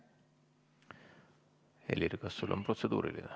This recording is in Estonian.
Helir, kas sul on protseduuriline?